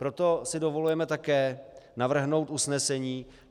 Proto si dovolujeme také navrhnout usnesení.